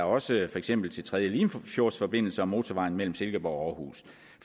også for eksempel til tredje limfjordsforbindelse og motorvejen mellem silkeborg og aarhus